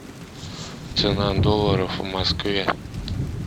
цена долларов в москве